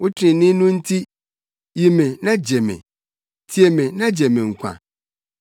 Wo trenee no nti, yi me na gye me; tie me na gye me nkwa.